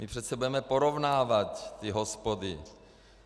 My přece budeme porovnávat ty hospody.